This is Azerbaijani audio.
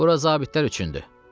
Bura zabitlər üçündür.